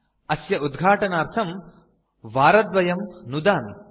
अस्य उद्घाटनार्थं वारद्वयं नुदामि